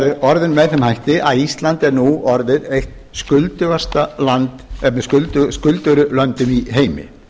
er orðinn með þeim hætti að ísland er nú orðið eitt af skuldugri löndum í heimi